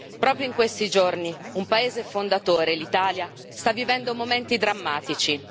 Proprio in questi giorni un paese fondatore, l'Italia, sta vivendo momenti drammatici.